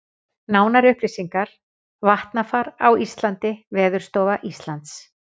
Nánari upplýsingar: Vatnafar á Íslandi Veðurstofa Íslands.